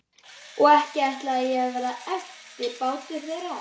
Og ekki ætlaði ég að verða eftirbátur þeirra.